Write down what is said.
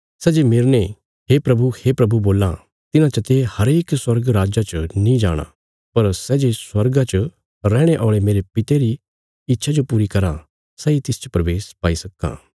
सै जे मेरने हे प्रभु हे प्रभु बोल्लां तिन्हां चते हरेक स्वर्ग राज्जा च नीं जाणा पर सै जे स्वर्गा च रैहणे औल़े मेरे पिता रिया इच्छा जो पूरी कराँ सैई तिसच प्रवेश पाई सक्कां